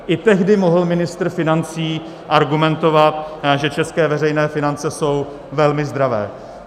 I tehdy mohl ministr financí argumentovat, že české veřejné finance jsou velmi zdravé.